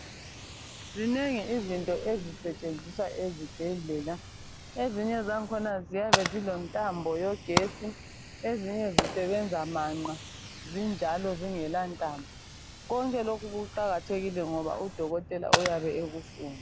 Zinengi izinto ezisetshenziswa ezibhedlela ezinye zakhona ziyabe zilentambo kagesi ezinye zisebenza manqa zinjalo zingela ntambo konke lokhu kuqakathekile ngoba udokotela uyabe ekufuna